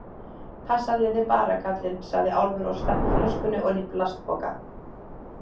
Passaðu þig bara, kallinn, sagði Álfur og stakk flöskunni oní plastpoka.